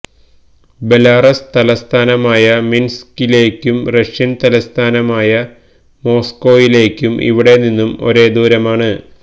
Belarus തലസ്ഥാനമായ മിൻസ്കിലേക്കും Russian തലസ്ഥാനായ മോസ്കോയിലേക്കു ഇവിടെ നിന്നും ഒരേ ദൂരമാണ്